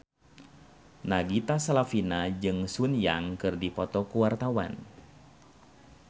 Nagita Slavina jeung Sun Yang keur dipoto ku wartawan